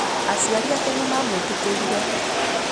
Aciari ake nĩ maamwĩtĩkĩririe.